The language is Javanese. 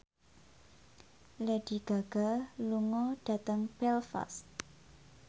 Lady Gaga lunga dhateng Belfast